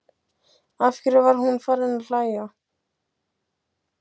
Af hverju var hún farin að hlæja?